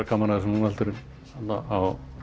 gaman að þessu núna en á